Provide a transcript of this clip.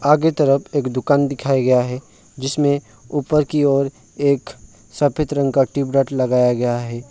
आगे तरफ एक दुकान दिखाया गया है जिसमें ऊपर की ओर एक सफेद रंग का ट्यूबलाइट लगाया गया है।